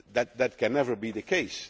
That can never be the